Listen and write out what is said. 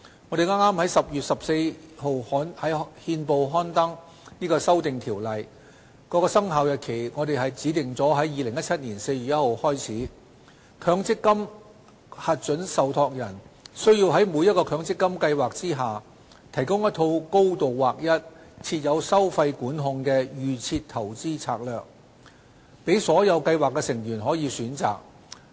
我們剛於10月14日在憲報刊登《修訂條例》的《生效日期公告》，指定在2017年4月1日起，強積金核准受託人須在每個強積金計劃下，提供一套高度劃一、設有收費管控的"預設投資策略"，供所有計劃成員選擇。